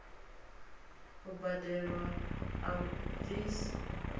u badelwa a u bvisa